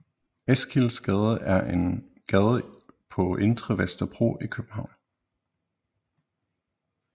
Eskildsgade er en gade på Indre Vesterbro i København